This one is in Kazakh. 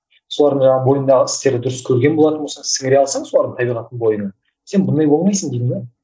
солардың жаңағы бойындағы істерді дұрыс көрген болатын болсаң сіңіре алсаң солардың табиғаттын бойыңа сен бұндай болмайсың деймін де